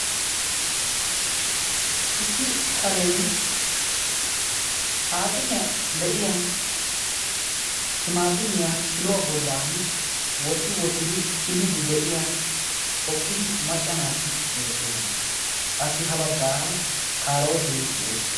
issi kareni saaxiniyan de'iya timaatimmiya kiluwa bolan woti wotidi kiliidi de'iya asati de'oosona. qassi ha bagaara kaarootee de'es.